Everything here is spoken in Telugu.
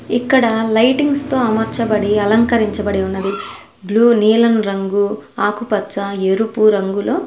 ఇక్కడా లైటింగ్స్ తో అమర్చబడి అలంకరించబడి ఉన్నది. బ్లూ నీలం రంగు ఆకుపచ్చ ఎరుపు రంగులో.